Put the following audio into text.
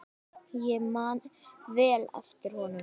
Ég man vel eftir honum.